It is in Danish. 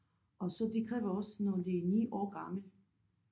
Og så de kræver også når de er 9 år gammel